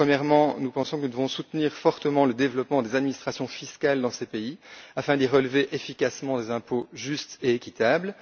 Premièrement, nous pensons que nous devons soutenir fortement le développement des administrations fiscales dans les pays concernés afin d'y prélever efficacement des impôts justes et équitables.